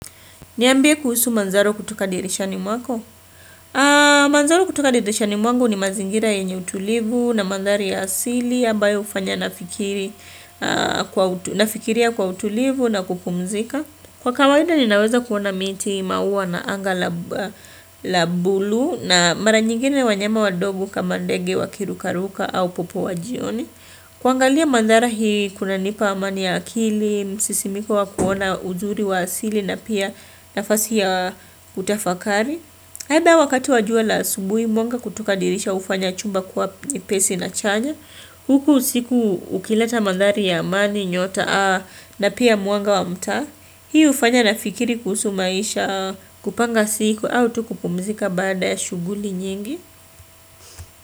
Niambie kuhusu manzaro kutoka dirishani mwako. Manzaro kutoka dirishani mwangu ni mazingira yenye utulivu na mandhari ya asili, ambayo hufanya nafikiria kwa utulivu na kupumzika. Kwa kawaida ninaweza kuona miti, maua na anga la buluu na mara nyingine wanyama wadogo kama ndege wakirukaruka au popo wa jioni. Kuangalia mandhari hii kunanipa amani ya akili, msisimiko wa kuona uzuri wa asili na pia nafasi ya utafakari. Aidha wakati wa jua la asubuhi mwanga kutoka dirisha hufanya chumba kuwa nyepesi na chanya. Huku usiku ukileta mandhari ya amani nyota na pia mwanga wa mtaa. Hii hufanya nafikiri kuhusu maisha, kupanga siku au tu kupumzika baada ya shughuli nyingi.